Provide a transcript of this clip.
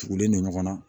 Tugulen don ɲɔgɔn na